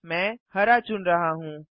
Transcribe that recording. मैं हरा चुन रहा हूँ